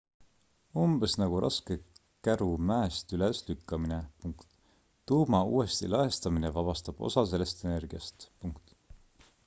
umbes nagu raske käru mäest üles lükkamine tuuma uuesti lõhestamine vabastab osa sellest energiast